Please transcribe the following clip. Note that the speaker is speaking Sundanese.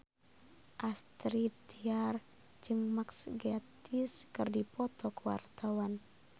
Astrid Tiar jeung Mark Gatiss keur dipoto ku wartawan